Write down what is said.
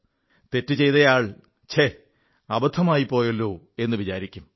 തെറ്റു ചെയ്ത ആൾ ഛെ അബദ്ധമായല്ലോ എന്നു വിചാരിക്കും